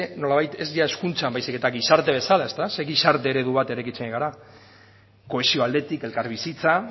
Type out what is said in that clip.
nolabait ez ia hezkuntzan baizik eta gizarte bezala ezta zer gizarte eredu bat eraikitzen ari gara kohesio aldetik elkarbizitza